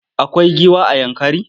Akwai giwa a Yankari?